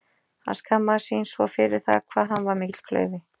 Hann skammaðist sín svo fyrir það hvað hann var mikill klaufi.